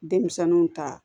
Denmisɛnninw ta